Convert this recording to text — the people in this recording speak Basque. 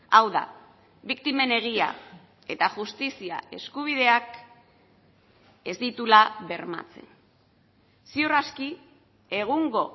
hau da biktimen egia eta justizia eskubideak ez dituela bermatzen ziur aski egungo